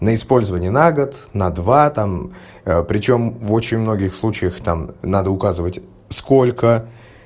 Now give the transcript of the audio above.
на использование на год на два там причём в очень многих случаях там надо указывать сколько